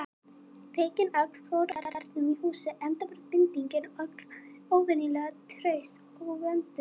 Feiknin öll fóru af járnum í húsið, enda var bindingin öll óvenjulega traust og vönduð.